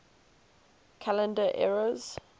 calendar eras